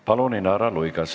Palun, Inara Luigas!